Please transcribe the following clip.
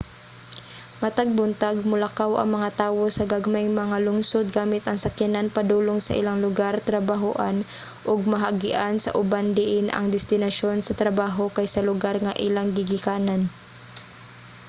matag buntag molakaw ang mga tawo sa gagmayng mga lungsod gamit ang sakyanan padulong sa ilang lugar-trabahoan ug maagian sa uban diin ang destinasyon sa trabaho kay sa lugar nga ilang gigikanan